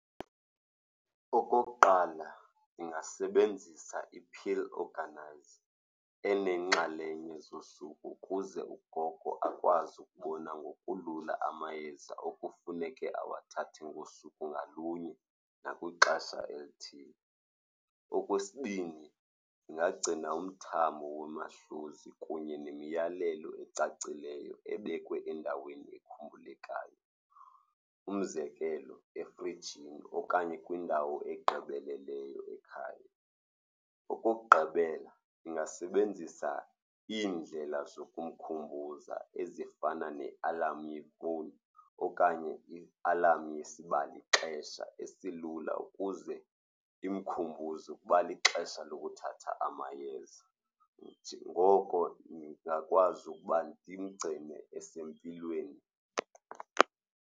Okokuqala, ungasebenzisa i-pill organiser eneenxalenye zosuku ukuze ugogo akwazi ukubona ngokulula amayeza okufuneke awathathe ngosuku ngalunye nakwixesha elithile. Okwesibini, ndingagcina umthamo kunye nemiyalelo ecacileyo ebekwe endaweni ekhumbulekayo, umzekelo efrijini okanye kwindawo egqibeleleyo ekhaya. Okokugqibela, ndingasebenzisa iindlela zokumkhumbuza ezifana ne-alarm yefowuni okanye i-alarm yesibalixesha esilula ukuze imkhumbuze ukuba lixesha lokuthatha amayeza. Ngoko ndingakwazi ukuba ndimgcine esempilweni.